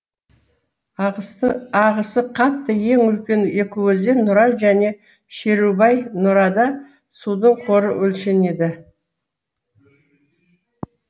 ағысы қатты ең үлкен екі өзен нұра және шерубай нұрада судың қоры өлшенеді